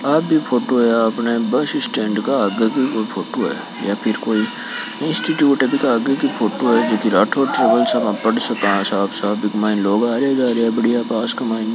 आ भी फोटो है आपन बस स्टैंड के आगे की फोटू है यह फिर कोय इंस्टिट्यूट की आगे फोटो हैं जोकि राठौड़ ट्रेवल्स आपा पढ़ सका साफ साफ बिक माइन लोग आरा जारा है पास के माइन --